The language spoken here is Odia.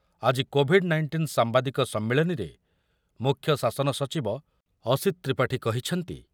ଆଜି କୋଭିଡ୍ ନାଇଂଟିନ ସାମ୍ବାଦିକ ସମ୍ମିଳନୀରେ ମୁଖ୍ୟ ଶାସନ ସଚିବ ଅସିତ୍ ତ୍ରିପାଠୀ କହିଛନ୍ତି